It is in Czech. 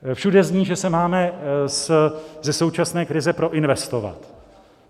Všude zní, že se máme ze současné krize proinvestovat.